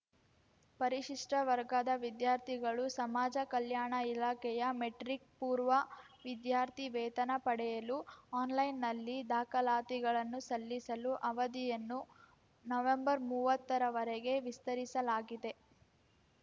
ಪರಿಶಿಷ್ಟವರ್ಗದ ವಿದ್ಯಾರ್ಥಿಗಳು ಸಮಾಜ ಕಲ್ಯಾಣ ಇಲಾಖೆಯ ಮೆಟ್ರಿಕ್‌ಪೂರ್ವ ವಿದ್ಯಾರ್ಥಿ ವೇತನ ಪಡೆಯಲು ಆನ್‌ಲೈನ್‌ನಲ್ಲಿ ದಾಖಲಾತಿಗಳನ್ನು ಸಲ್ಲಿಸಲು ಅವಧಿಯನ್ನು ನವೆಂಬರ್ಮುವತ್ತರವರೆಗೆ ವಿಸ್ತರಿಸಲಾಗಿದೆ